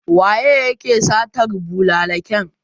Waye yake satar bulallikan?